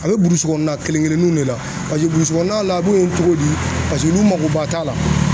A bɛ burusi kɔnɔna kelen kelenninw de la paseke burusi kɔnɔna la a ye cogo di paseke olu makoba t'a la